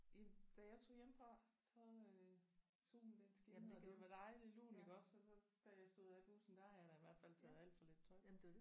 I da jeg tog hjemmefra så øh solen den skinnede og det var dejlig lunt iggås og så da jeg stod af bussen der havde jeg da i hvert fald taget alt for lidt tøj på